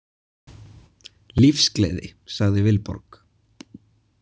Lífsgleði, sagði Vilborg.